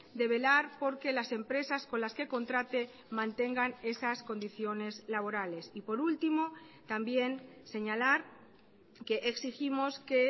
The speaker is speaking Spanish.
de velar porque las empresas con las que contrate mantengan esas condiciones laborales y por último también señalar que exigimos que